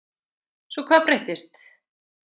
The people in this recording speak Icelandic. Svo hvað breyttist?